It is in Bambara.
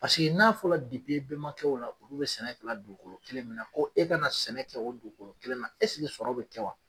Paseke n'a fɔla e bɛmakɛw la olu bɛ sɛnɛ kɛla dugukolo kelen min na ko e ka na sɛnɛ kɛ o dugukolo kelen na esike sɔrɔ be kɛ wa?